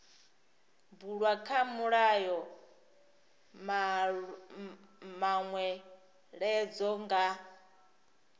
bulwa kha mulayo manweledzo nga